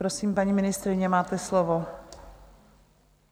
Prosím, paní ministryně, máte slovo.